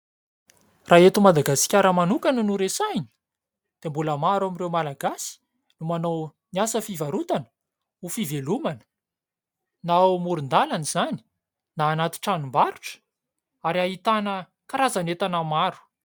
Raha eto Madagasikara manokana no resahina dia mbola maro amin'ireo malagasy no manao ny asa fivarotana ho fivelomana. Na ao amoron-dalana izany na anaty tranombarotra ary ahitana karazan'entana maro.